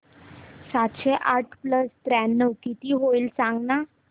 सातशे आठ प्लस त्र्याण्णव किती होईल सांगना